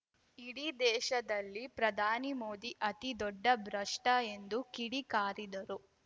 ಇಡೀ ದೇಶದಲ್ಲಿ ಪ್ರಧಾನಿ ಮೋದಿ ಅತಿ ದೊಡ್ಡ ಭ್ರಷ್ಟಎಂದು ಕಿಡಿ ಕಾರಿದರು